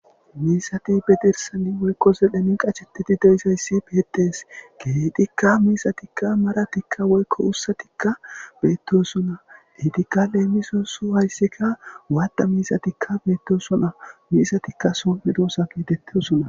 Miisati bedirsani woykko zedhemi qachetidi deizayssi beedees geedikka miisatikka maratikka woykko ussatikka beettosuna hitikka leemisosu hayssikka waadda miisatikka beettosuna miisatikka somedoosa geetettosuna.